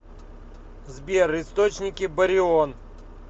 сбер источники барион